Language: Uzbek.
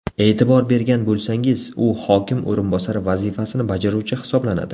E’tibor bergan bo‘lsangiz, u hokim o‘rinbosari vazifasini bajaruvchi hisoblanadi.